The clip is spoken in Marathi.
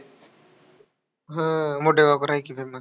हा, मोठं वापरायची त्यांना.